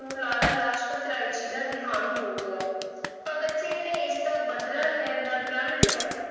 ਲਾਲਾ ਲਾਜਪਤ ਰਾਏ ਜੀ ਦਾ ਦਿਹਾਂਤ ਹੋ ਗਿਆ, ਭਗਤ ਸਿੰਘ ਨੇ ਇਸ ਦਾ ਬਦਲਾ ਲੈਣ ਦਾ ਪ੍ਰਣ ਲਿਆ।